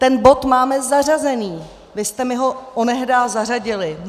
Ten bod máme zařazený, vy jste mi ho onehdá zařadili.